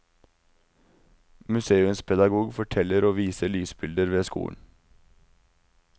Museumspedagog forteller og viser lysbilder ved skolen.